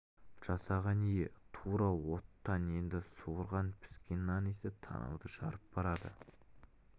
жасаған ие тура оттан енді суырған піскен нан иісі танауды жарып барады